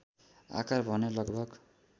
आकार भने लगभग